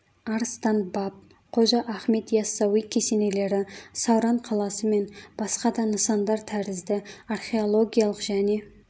арыстан баб қожа ахмет яссауи кесенелері сауран қаласы мен басқа да нысандар тәрізді археологиялық және